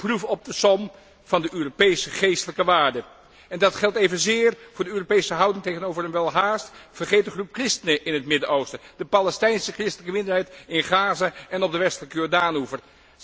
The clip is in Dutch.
De proef op de som van de Europese geestelijke waarden. Dat geldt evenzeer voor de Europese houding tegenover een welhaast vergeten groep christenen in het Midden Oosten, de Palestijnse christelijke minderheid in Gaza en op de Westelijke Jordaanoever.